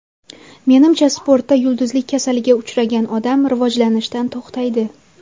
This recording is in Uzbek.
Menimcha, sportda yulduzlik kasaliga uchragan odam rivojlanishdan to‘xtaydi.